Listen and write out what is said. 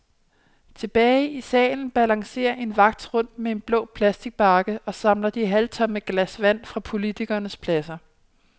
Tilbage i salen balancerer en vagt rundt med en blå plastbakke og samler de halvtomme glas vand fra politikernes pladser.